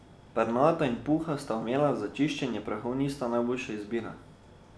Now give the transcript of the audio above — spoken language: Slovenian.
Pernata in puhasta omela za čiščenje prahu niso najboljša izbira.